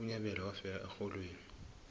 unyabela wafela erholweni